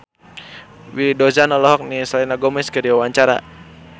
Willy Dozan olohok ningali Selena Gomez keur diwawancara